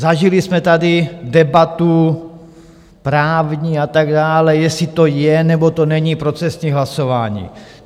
Zažili jsme tady debatu právní a tak dále, jestli to je, nebo to není procesní hlasování.